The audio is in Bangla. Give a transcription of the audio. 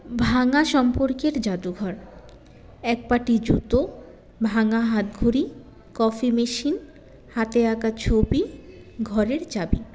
ভাঙা সম্পর্কের জাদুঘর একপাটি জুতো ভাঙা হাতঘড়ি কফি machine হাতে আঁকা ছবি ঘরের চাবি